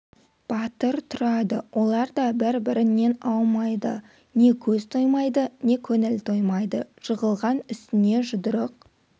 батыр тұрады олар да бір-бірінен аумайды не көз тоймайды не көңіл толмайды жығылған үстіне жұдырық